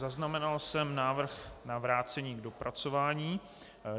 Zaznamenal jsem návrh na vrácení k dopracování.